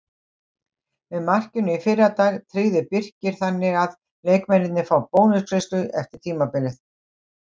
Með markinu í fyrradag tryggði Birkir þannig að leikmennirnir fá bónusgreiðslu eftir tímabilið.